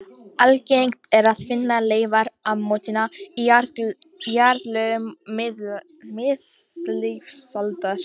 Algengt er að finna leifar ammoníta í jarðlögum miðlífsaldar.